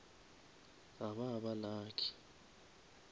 ga ba ba lucky